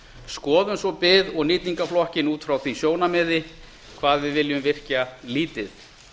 skoðum svo bið og nýtingarflokkinn út frá því sjónarmiði hvað við viljum virkja lítið